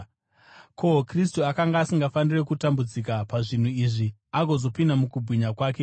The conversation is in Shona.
Ko, Kristu akanga asingafaniri kutambudzika pazvinhu izvi agozopinda mukubwinya kwake here?”